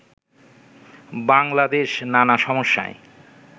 বাংলাদেশ নানা সমস্যায়